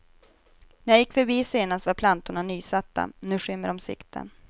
När jag gick förbi senast var plantorna nysatta, nu skymmer de sikten.